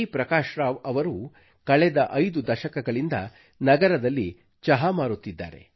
ಪ್ರಕಾಶ್ ರಾವ್ ಅವರು ಕಳೆದ 5 ದಶಕಗಳಿಂದ ನಗರದಲ್ಲಿ ಚಹಾ ಮಾರುತ್ತಿದ್ದಾರೆ